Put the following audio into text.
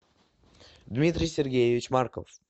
дмитрий сергеевич марков